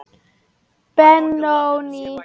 Benóný